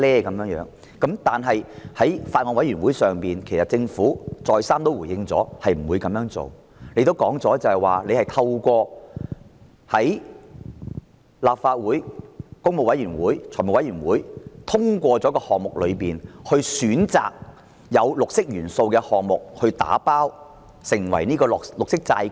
但是，政府在小組委員會再三回應不會這樣做，並指出會在立法會工務小組委員會和立法會財務委員會通過的項目中，選擇有"綠色元素"的項目"打包"發行綠色債券。